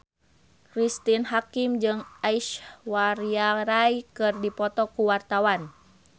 Cristine Hakim jeung Aishwarya Rai keur dipoto ku wartawan